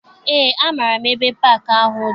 Eé, amaara m ebe paakị ahụ dị.